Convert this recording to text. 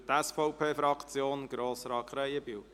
Für die SVP-Fraktion spricht Grossrat Krähenbühl.